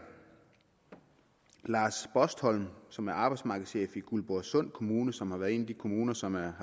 lars bostholm som er arbejdsmarkedschef i guldborgsund kommune som har været en af de kommuner som har